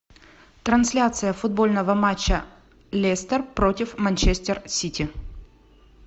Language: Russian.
трансляция футбольного матча лестер против манчестер сити